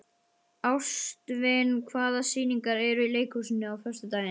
Ástvin, hvaða sýningar eru í leikhúsinu á föstudaginn?